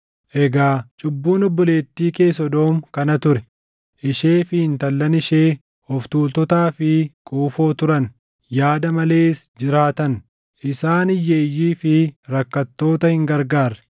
“ ‘Egaa cubbuun obboleettii kee Sodoom kana ture: Ishee fi intallan ishee of tuultotaa fi quufoo turan; yaada malees jiraatan; isaan hiyyeeyyii fi rakkattoota hin gargaarre.